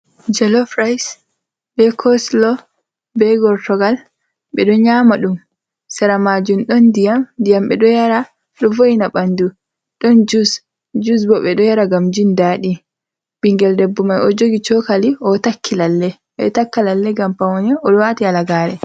Jolof raayis, be koslo, be gortogal, ɓe ɗo nyaama ɗum. Sera maajum ɗon ndiyam, ndiyam ɓe ɗo yara ɗo vo''ina ɓanndu. Ɗon jus, jus bo ɓe ɗo yara ngam jindaaɗi. Ɓinngel debbo may, o ɗo jogi cookali, o ɗo takki lalle, ɓe ɗo takka lalle ngam pawne, o ɗo waati halagaare.